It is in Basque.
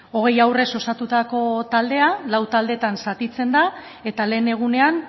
hogei haurrez osatutako taldea lau taldeetan zatitzen da eta lehen egunean